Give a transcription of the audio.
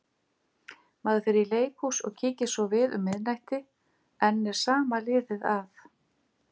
Maður fer í leikhús og kíkir svo við um miðnætti- enn er sama liðið að.